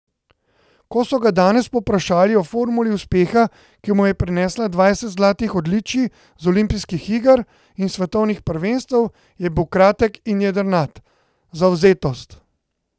Ko so ga danes povprašali o formuli uspeha, ki mu je prinesla dvajset zlatih odličij z olimpijskih iger in svetovnih prvenstev, je bil kratek in jedrnat: 'Zavzetost!